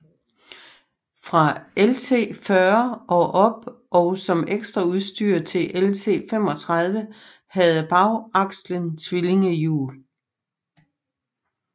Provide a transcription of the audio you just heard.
Fra LT 40 og op og som ekstraudstyr til LT 35 havde bagakslen tvillingehjul